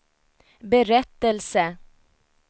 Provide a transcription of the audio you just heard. berättelse